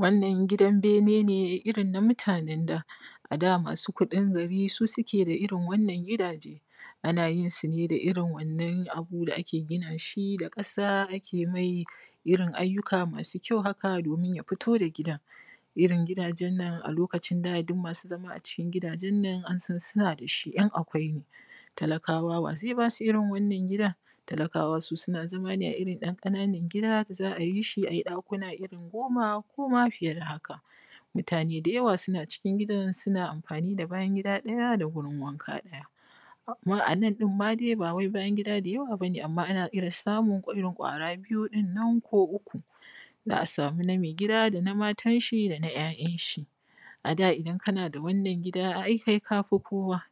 wannan gidan bene ne irin na mutanen da a da masu kuɗin gari su suke da irin wannan gidaje a na jin su ne da irin wannan abu da ake gina shi da ƙasa ake mai irin ayyuka masu kyau haka domin ya fito gidan irin gidajen nan a lokacin da duk masu zama a cikin gidajen nan an san suna da shi ‘yan akwai ne talakawa wa zai ba su irin wannan gida talakawa su suna zama irin ‘yan ƙananan gida da za a yi shi a ji ɗakuna irin goma ko ma fiye da haka mutane da yawa suna cikin gidan suna amfani da bayan gida ɗaya da gurin wanka ɗaya a nan ma ɗin dai ba wai bayan gida da yawa bane amma ana irin samun irin ƙwara biyun nan ko uku za a samu na mai gida da na matan shi da na ‘ya’yan shi a da idan kana da wannan gidan ai kai ka fi kowa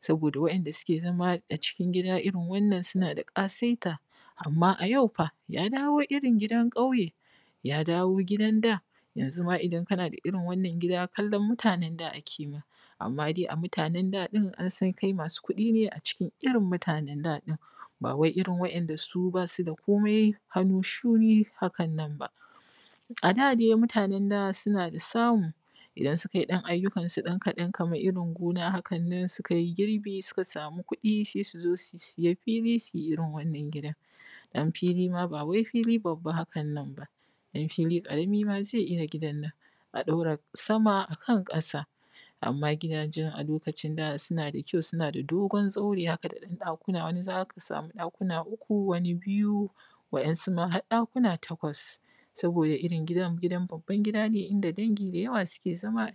saboda wan ’yanda suke zama a cikin gida irin wannan suna da ƙasaita amma a yau fa ya dawo irin gidan ƙauye ya dawo gidan da yanzu ma idan ka na da irin wannan gida kallan mutanen da ake ma amma dai a mutanen da ɗin an san kai maa su kuɗi ne a cikin irin mutanan da ɗin ba wai irin su wanda ba su da komai hannu shuni haka nan ba a da dai mutanan da suna da samu idan su ka yi ɗan ayyukan su dan kaɗan kaman irin gona haka nan su ka yi girbi su ka sama kuɗi sai su zo su siya fili su irin wannan gidan don fili ma ba wai fili babba hakan nan ba ɗan fili ƙarami ma zai iya gina gidan a ɗaura sama akan ƙasa amma gidajen a lokacin da suna da kyau suna da dogon zaure haka da ɗan ɗakuna wani za ka sama ɗakuna uku wani biyu wa’yansu ma har ɗakuna takwas saboda irin gidan gidan babban gida ne inda dangi da yawa suke zama